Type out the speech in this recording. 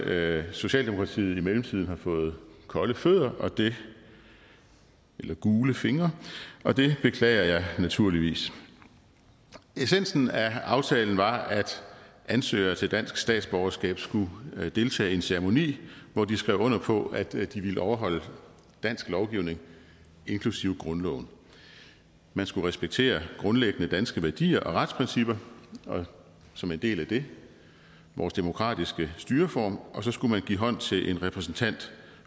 at socialdemokratiet i mellemtiden har fået kolde fødder eller gule fingre og det beklager jeg naturligvis essensen af aftalen var at ansøgere til dansk statsborgerskab skulle deltage i en ceremoni hvor de skrev under på at de ville overholde dansk lovgivning inklusive grundloven man skulle respektere grundlæggende danske værdier og retsprincipper og som en del af det vores demokratiske styreform og så skulle man give hånd til en repræsentant